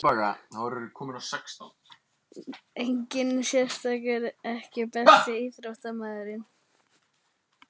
Enginn sérstakur EKKI besti íþróttafréttamaðurinn?